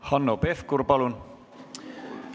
Hanno Pevkur, palun!